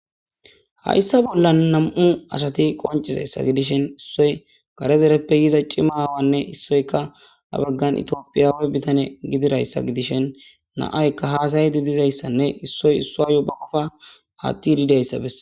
Haysa Bolan Nam'u Asati Konccizaysa Gidishin Issoy Kare Derepe yiza Chima awane, Essoy qa Ha Bagan Ethiopiawe Bitane Gididaysa Gidishin Na'ayka Has'ishe Dizaysane Na'ay Esoy Esuara Qopha Atidi Dizaysa Beses